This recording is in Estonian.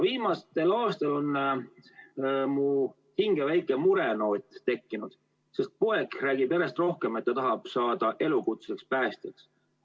Viimastel aastatel on mu hinge väike murenoot tekkinud, sest poeg räägib järjest rohkem, et ta tahab saada elukutseliseks päästjaks.